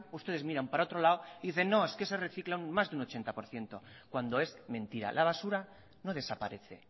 ustedes miran para otro lado y dicen no es que se recicla más de un ochenta por ciento cuando es mentira la basura no desaparece